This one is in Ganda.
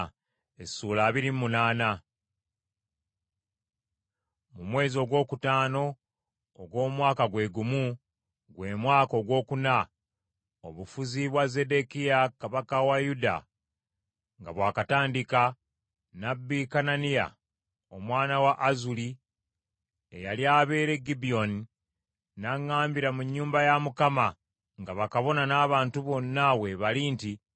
Mu mwezi ogwokutaano ogw’omwaka gwe gumu, gwe mwaka ogwokuna, obufuzi bwa Zeddekiya kabaka wa Yuda nga bw’akatandika, nnabbi Kananiya omwana wa Azuri eyali abeera e Gibyoni n’aŋŋambira mu nnyumba ya Mukama nga bakabona n’abantu bonna we bali nti,